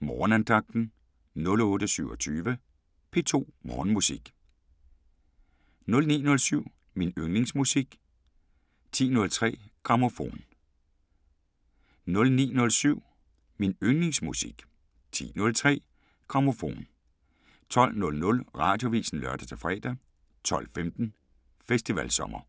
Morgenandagten 08:27: P2 Morgenmusik 09:07: Min yndlingsmusik 10:03: Grammofon 12:00: Radioavisen (lør-fre) 12:15: Festivalsommer